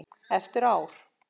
Eftir ár?